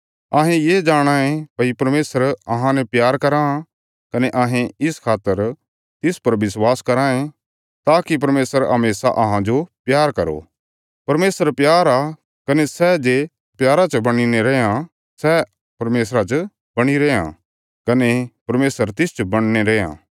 अहें ये जाणाँ ये भई परमेशर अहांने प्यार कराँ कने अहें इस खातर तिस पर विश्वास कराँ ये ताकि परमेशर हमेशा अहांजो प्यार करो परमेशर प्यार आ कने सै जे प्यारा च बणीने रैयां सै परमेशरा च बणीरा रैयां कने परमेशर तिसच बणीने रैयां